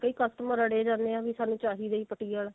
ਕਈ customer ਅੜੇ ਹੀ ਜਾਂਦੇ ਨੇ ਕੇ ਸਾਨੂੰ ਚਾਹੀਦਾ ਹੀ ਪੱਟੀ ਆਲਾ